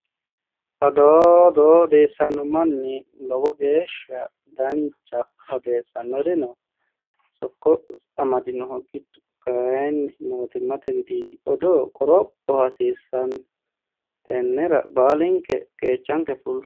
odoo odoo odeessanno manchi lowo geeshsha danchaho odeessannorino sokko amadinoho giddo kayinni mootimmate widiidi odoo qoropho hasiisannno tennera baalinke qeechanke fullo